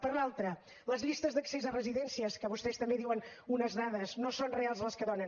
per l’altra les llistes d’accés a residències que vostès també en diuen unes dades no són reals les que donen